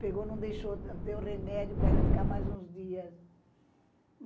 Pegou, não deixou, deu remédio para ela ficar mais uns dias.